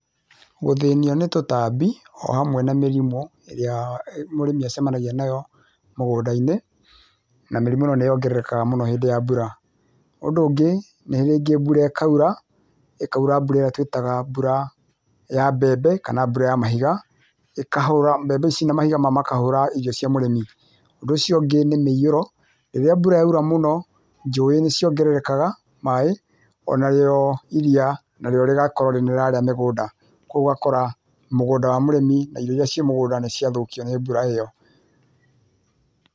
Gũthĩnio nĩ tũtambi ohamwe na mĩrimũ ĩrĩa mũrĩmi acemanagia nayo mũgũndainĩ na mĩrimũ nayo nĩongerekaga mũno hĩndĩ ya mbura, ũndũ ũngĩ nĩ rĩngĩ mbura ĩkaũra ĩkaura mbura ĩrĩa twĩtaga mbura ya mbembe kana mbura ya mahiga ĩkahũra mbembe ici na mahiga makahũra irio cia mũrĩmi, ũndũ ũcio ũngĩ nĩ mũiyũro rĩrĩa mbũra yaura mũno njũĩ nĩcĩongerekaga maĩ, onarĩo iria narĩo rigakorwo nĩrĩrarĩa mĩgũnda kwoguo ũgakora mũgũnda wa mũrĩmi na irio ĩria ciuma mũgũnda nĩciathũkio nĩ mbura ĩyo.